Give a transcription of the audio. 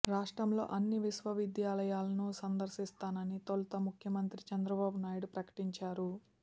రాష్ట్రంలోని అన్ని విశ్వవిద్యాలయాలను సందర్శిస్తానని తొలుత ముఖ్యమంత్రి చంద్రబాబునాయుడు ప్రకటించారు